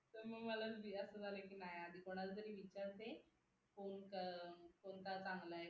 तर मग मला असं झालं की नाय आधी कोणाला तरी विचारते आणि मग कोणता चांगला आहे